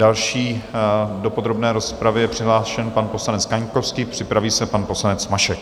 Další do podrobné rozpravy je přihlášen pan poslanec Kaňkovský, připraví se pan poslanec Mašek.